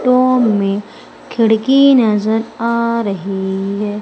To में खिड़की नजर आ रही है।